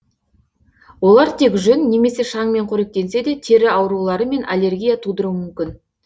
олар тек жүн немесе шаңмен қоректенсе де тері аурулары мен аллергия тудыруы мүмкін